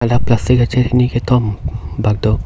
la plastic achet hini kethom tado.